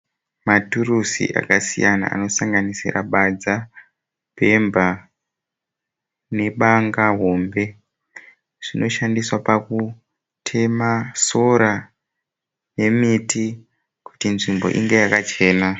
Maturuzi akasiyana anosanganidzira badza, bhemba ne banga hombe. Zvinoshandiswa pakutema sora ne mhiti kuti nzimbo inge yakachena.